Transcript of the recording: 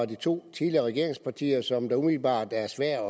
de to tidligere regeringspartier som umiddelbart er svært